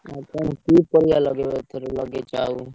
କି ପରିବା ଲଗେଇବ ଏଥର ଲଗେଇଛ ଆଉ?